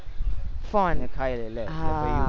phone હા અને ખાઈ લે